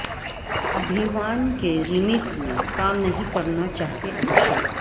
ابھیمان کے ریمیک میں کام نہیں کرنا چاہتے ابھیشیک